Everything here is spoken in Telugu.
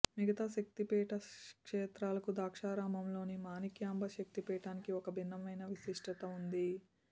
మిగతా శక్తి పీఠా క్షేత్రాలకు ద్రాక్షారామంలోని మాణిక్యాంబ శక్తి పీఠానికి ఒక భిన్నమైన విశిష్టత వుంది